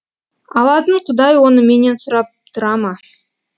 алатын құдай оны менен сұрап тұра ма